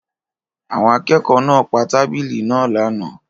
Àwọn akẹ́kọ̀ọ́ náà pa tábìlì náà lánàá.